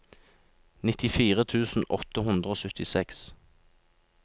nittifire tusen åtte hundre og syttiseks